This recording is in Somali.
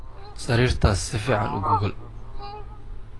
Sariirtaas si fiican u gogool.